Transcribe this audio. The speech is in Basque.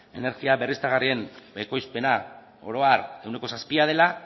energia berriztagarrien ekoizpena oro harehuneko zazpia dela